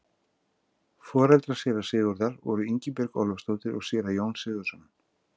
Foreldrar séra Sigurðar voru Ingibjörg Ólafsdóttir og séra Jón Sigurðsson.